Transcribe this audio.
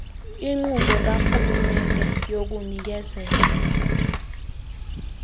inkqubo karhulumente yokunikezela